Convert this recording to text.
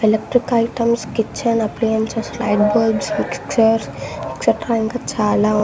electrical items kitchen appliances light bulbs mixer jars etcetera ఇంకా చాలా--